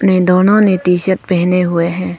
ये दोनों ने टी शर्ट पहने हुए हैं।